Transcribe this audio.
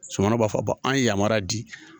Somɔɔ b'a fɔ ba an ye yamaruya di